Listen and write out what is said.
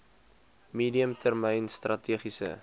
medium termyn strategiese